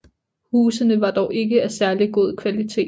Husene var dog ikke af særlig god kvalitet